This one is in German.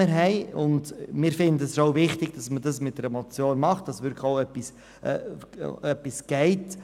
Wir denken, dass es wichtig ist, diese Motion einzureichen, damit wirklich etwas geschieht.